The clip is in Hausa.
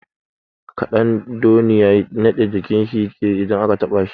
Ƙadandoniya naɗe jikin shi yake yi in aka taɓa shi.